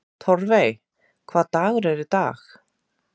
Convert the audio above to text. Torfey, hvaða dagur er í dag?